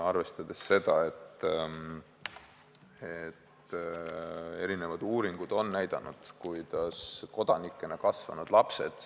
Aga erinevad uuringud on näidanud, et kodanikena kasvanud lapsed ...